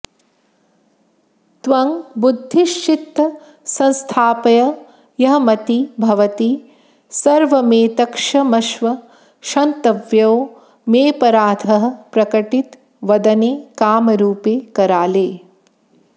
त्वं बुद्धिश्चित्त संस्थाप्ययहमतिभवती सर्वमेतत्क्षमस्व क्षन्तव्यो मेऽपराधः प्रकटित वदने कामरूपे कराले